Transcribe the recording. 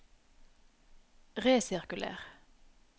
resirkuler